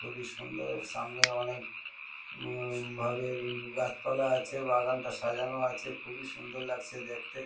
খুবই সুন্দর। সামনে অনেক উম ভাবে গাছপালা আছে বাগানটা সাজানো আছে। খুবই সুন্দর লাগছে দেখতে।